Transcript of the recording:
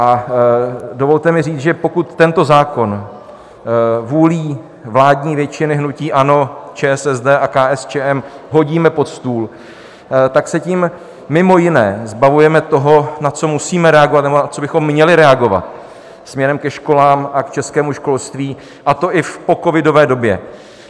A dovolte mi říct, že pokud tento zákon vůlí vládní většiny hnutí ANO, ČSSD a KSČM hodíme pod stůl, tak se tím mimo jiné zbavujeme toho, na co musíme reagovat nebo na co bychom měli reagovat směrem ke školám a k českému školství, a to i v pocovidové době.